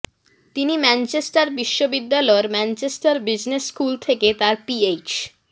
তিনি ম্যানচেস্টার বিশ্ববিদ্যালয়ের Manchester business school থেকে তার পিএইচ